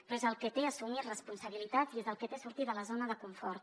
però és el que té assumir responsabilitats i és el que té sortir de la zona de confort